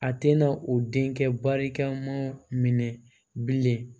A tɛna u denkɛ barikamaw minɛ bilen